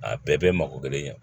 A bɛɛ bɛ mako kelen ɲɛ